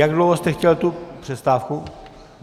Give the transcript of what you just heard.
Jak dlouho jste chtěl tu přestávku?